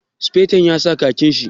Sufeton ya sa khakin shi?